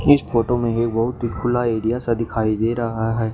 इस फोटो में ही बहुत ही खुला एरिया सा दिखाई दे रहा है।